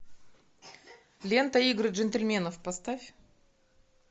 лента игры джентльменов поставь